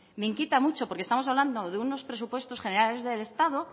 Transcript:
me inquieta mucho porque estamos hablando de unos presupuestos generales del estado